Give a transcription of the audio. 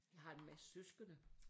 Jeg har en masse søskende